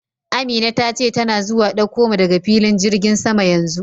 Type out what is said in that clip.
Amina ta ce tana zuwa dauko mu daga filin jirgin sama yanzu.